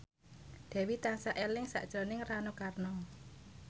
Dewi tansah eling sakjroning Rano Karno